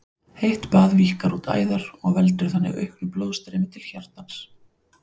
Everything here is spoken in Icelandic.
Heitt bað víkkar út æðar og veldur þannig auknu blóðstreymi til hjartans.